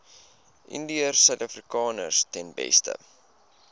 indiërsuidafrikaners ten beste